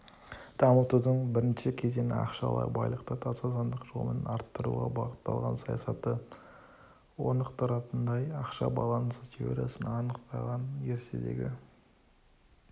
дамытудың бірінші кезеңі-ақшалай байлықты таза заңдық жолмен арттыруға бағытталған саясаты орнықтыратындай ақша балансы теориясын анықтаған ертедегі